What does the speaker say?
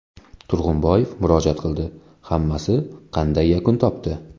Turg‘unboyev murojaat qildi, hammasi qanday yakun topdi?